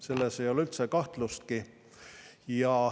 Selles ei ole üldse kahtlustki.